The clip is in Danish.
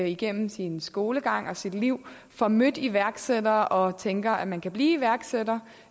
igennem sin skolegang og sit liv får mødt iværksættere og tænker at man kan blive iværksætter